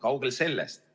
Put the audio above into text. Kaugel sellest!